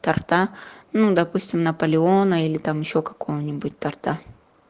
торта ну допустим наполеона или там ещё какую-нибудь торта